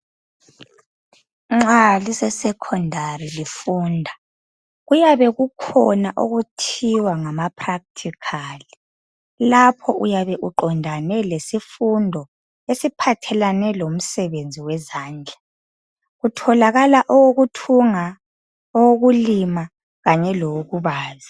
Nxa lise sekhondari lifunda kuyabe kukhona okuthiwa ngamaphrakhthikhali, lapha uyabe uqondane lesifundo esiphathelane lomsebenzi wezandla kutholakala owokuthunga, owokulima kanye lowokubaza.